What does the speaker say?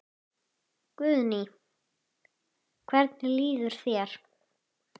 Guðný: Hvernig líður þér?